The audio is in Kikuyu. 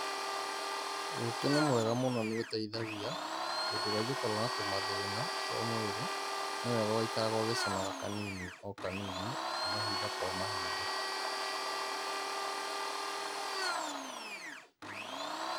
Ũkĩ nĩ mwega mũno nĩ ũteithagia, hĩndĩ ĩrĩa ingĩkorwo na tũmathina twa mwĩri, nĩwega ũgaikaraga ũgĩcũnaga o kanini, o kanini, mahinda kwa mahinda.